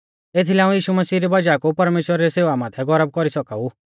एथीलै हाऊं यीशु मसीह री वज़ाह कु परमेश्‍वरा री सेवा माथै गौरव कौरी सौका ऊ